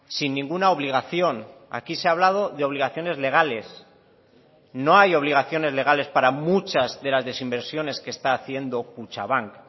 sin ninguna obligación aquí se ha hablado de obligaciones legales no hay obligaciones legales para muchas de las desinversiones que está haciendo kutxabank